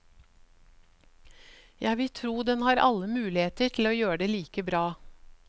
Jeg vil tro den har alle muligheter til å gjøre det like bra.